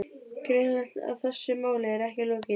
Greinilegt að þessu máli er ekki lokið.